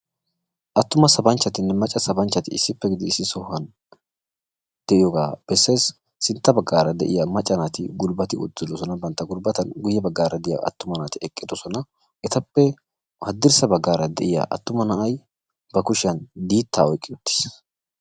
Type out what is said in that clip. Attuma sabanchcatimne macca sabanchchati issippe gidid issi sohuwan de'iyooga bessees. Sintta baggaara de'iyaa macca naati gulbbati uttidoosona bantta gulbbatan. guyyee baggaara de'iyaa attuma naati eqqidoosona. Etappe haddirssa baggaara de'iyaa na'ay ba kushiyaan diita oyqqi uttiis.